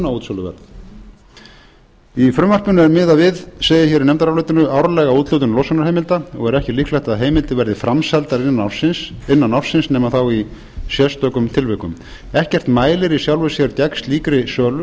konar brunaútsöluverð í frumvarpinu er miðað við segir hér í nefndarálitinu árlega úthlutun losunarheimilda og er ekki líklegt að heimildir verði framseldar innan ársins nema þá í sérstökum tilvikum ekkert mælir í sjálfu sér gegn slíkri sölu